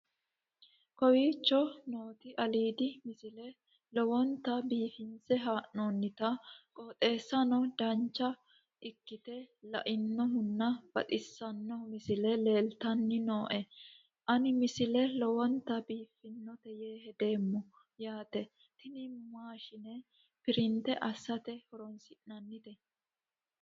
kowicho nooti aliidi misile lowonta biifinse haa'noonniti qooxeessano dancha ikkite la'annohano baxissanno misile leeltanni nooe ini misile lowonta biifffinnote yee hedeemmo yaate tini maashine printe assate horoonsi'nannite